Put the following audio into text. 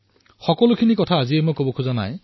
কিন্তু এই বিষয়ে ব্যাপকভাৱে আজি মই নকও